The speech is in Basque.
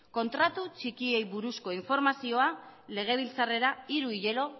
kontratu txikiei buruzko informazioa legebiltzarrera